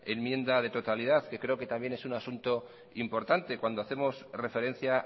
enmienda de totalidad que creo que también es un asunto importante cuando hacemos referencia